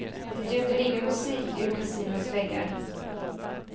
Det ljuder ingen musik ur kasinots väggar.